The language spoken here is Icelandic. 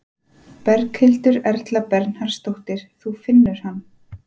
Berghildur Erla Bernharðsdóttir: Þú finnur hann?